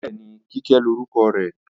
Bẹ́ẹ̀ni, Kíkẹ́ lórúkọ rẹ̀